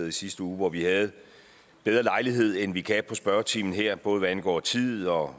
i sidste uge hvor vi havde bedre lejlighed end vi kan have spørgetimen her både hvad angår tid og